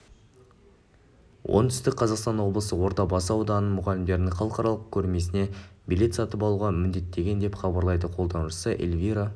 оңтүстік қазақстан облысы ордабасы ауданының мұғалімдерін халықаралық көрмесіне билет сатып алуға міндеттеген деп хабарлайды қолданушысы эльвира